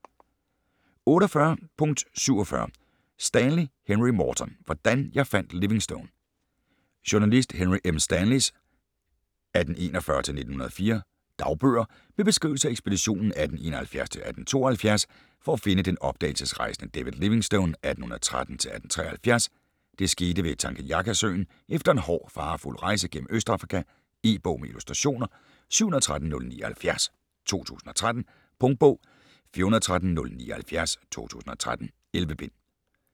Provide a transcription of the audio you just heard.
48.47 Stanley, Henry Morton: Hvordan jeg fandt Livingstone Journalist Henry M. Stanleys (1841-1904) dagbøger med beskrivelser af ekspeditionen 1871-1872 for at finde den opdagelsesrejsende David Livingstone (1813-1873). Det skete ved Tanganyikasøen efter en hård og farefuld rejse gennem Østafrika. E-bog med illustrationer 713079 2013. Punktbog 413079 2013. 11 bind.